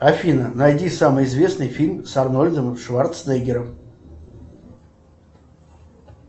афина найди самый известный фильм с арнольдом шварценеггером